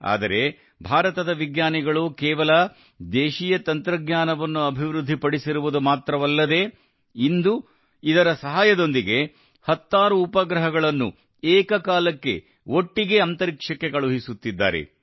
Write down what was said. ಆದರೆ ಭಾರತದ ವಿಜ್ಞಾನಿಗಳು ಕೇವಲ ದೇಶೀಯ ತಂತ್ರಜ್ಞಾನವನ್ನು ಅಭಿವೃದ್ಧಿ ಪಡಿಸಿರುವುದು ಮಾತ್ರವಲ್ಲದೇ ಇಂದು ಇದರ ಸಹಾಯದೊಂದಿಗೆ ಹತ್ತಾರು ಉಪಗ್ರಹಗಳನ್ನು ಏಕಕಾಲಕ್ಕೆ ಒಟ್ಟಿಗೆ ಅಂತರಿಕ್ಷಕ್ಕೆ ಕಳುಹಿಸುತ್ತಿದ್ದಾರೆ